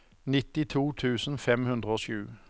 nittito tusen fem hundre og sju